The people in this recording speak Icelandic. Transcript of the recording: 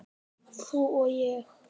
Þú og ég.